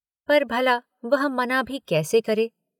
पर भला वह मना भी कैसे करे?